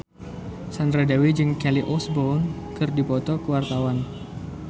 Sandra Dewi jeung Kelly Osbourne keur dipoto ku wartawan